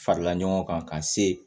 Farala ɲɔgɔn kan ka se